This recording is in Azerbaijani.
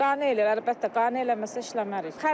Qane eləyir əlbəttə, qane eləməsə işləmərik.